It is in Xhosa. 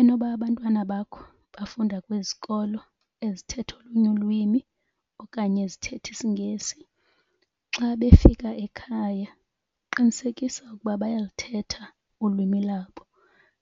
Enoba abantwana bakho bafunda kwizikolo ezithetha olunye ulwimi okanye ezithetha isiNgesi xa befika ekhaya qinisekisa ukuba bayalithetha ulwimi lwabo